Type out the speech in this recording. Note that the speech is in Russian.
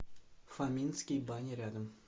фоминские бани рядом